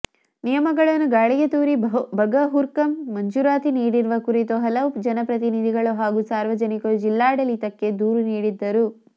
ನಿಯಮಗಳನ್ನು ಗಾಳಿಗೆ ತೂರಿ ಬಗರ್ಹುಕುಂ ಮಂಜೂರಾತಿ ನೀಡಿರುವ ಕುರಿತು ಹಲವು ಜನಪ್ರತಿನಿಧಿಗಳು ಹಾಗೂ ಸಾರ್ವಜನಿಕರು ಜಿಲ್ಲಾಡಳಿತಕ್ಕೆ ದೂರು ನೀಡಿದ್ದರು